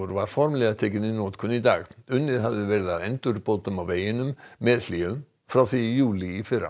var formlega tekinn í notkun í dag unnið hafði verið að endurbótum á veginum með hléum frá því í júlí í fyrra